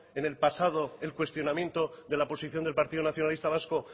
en el pasado el cuestionamiento de la posición del partido nacionalista vasco